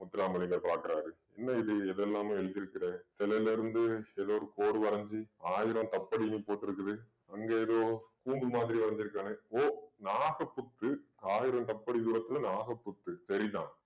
முத்துரம்மலிங்கம் பாக்குறாரு என்ன இது எதெல்லாமோ எழுதியிருக்கிற சிலயில இருந்து ஏதோ ஒரு போர் வரைஞ்சு ஆயிரம் கப்பலயும் போட்டிருக்குது அங்கே ஏதோ கூம்பு மாதிரி வரைஞ்சுருக்கானு~ ஓ நாகப்புத்து ஆயிரம் அடி தூரத்திலே நாகப்புத்து சரிதான்